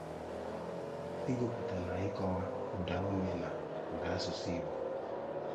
Ịgụpụta na ịkọwa ụdaume na ụda asụsụ Igbo.